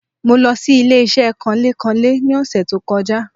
Mo lo sí ilé-isé kanlé-kanlé ni òsè tó kojá